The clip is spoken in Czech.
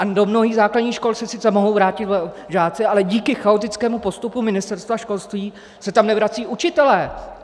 A do mnohých základních škol se sice mohou vrátit žáci, ale díky chaotickému postupu Ministerstva školství se tam nevracejí učitelé!